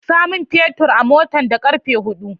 Sa man fetur a mota da karfe hudu.